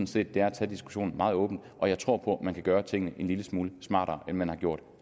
set det er at tage diskussionen meget åbent og jeg tror på at man kan gøre tingene en lille smule smartere end man har gjort